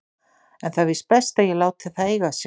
En það er víst best að ég láti það eiga sig.